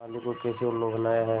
माली को कैसे उल्लू बनाया है